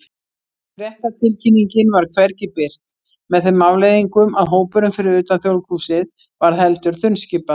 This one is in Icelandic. Fréttatilkynningin var hvergi birt, með þeim afleiðingum að hópurinn fyrir utan Þjóðleikhúsið varð heldur þunnskipaður.